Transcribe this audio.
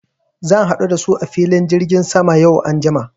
Zan haɗu da su a filin jirgin sama yau anjima.